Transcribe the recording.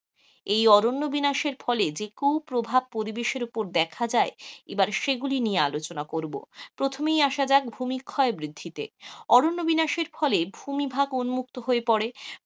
এই অরণ্য বিনাশের ফলে যে কু প্রভাব পরিবেশের উপর দেখা যায়, এবার সেই গুলি নিয়ে আলোচনা করব, প্রথমেই আসা যাক ভূমিক্ষয় বৃদ্ধিতে. অরণ্য বিনাশের ফলে ভুমিভাগ উন্মুক্ত হয়ে পড়ে.